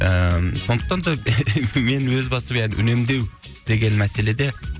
ііі сондықтан да мен өз басым үнемдеу деген мәселеде